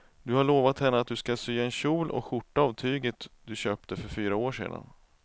Du har lovat henne att du ska sy en kjol och skjorta av tyget du köpte för fyra år sedan.